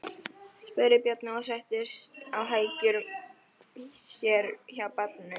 spurði Bjarni og settist á hækjur sér hjá barninu.